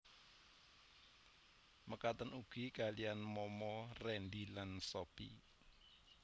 Mekaten ugi kaliyan Mama Rendy lan Sophie